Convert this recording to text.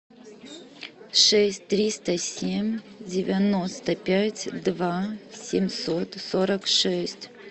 шесть триста семь девяносто пять два семьсот сорок шесть